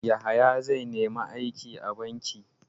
Yahaya zai nemi aiki a banki.